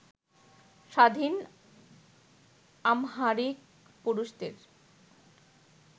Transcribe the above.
স্বাধীন আমহারিক পুরুষদের